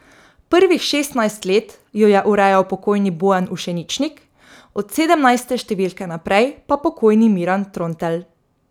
Prvih šestnajst let jo je urejal pokojni Bojan Ušeničnik, od sedemnajste številke naprej pa pokojni Miran Trontelj.